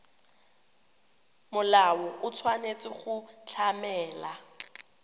molao o tshwanetse go tlamela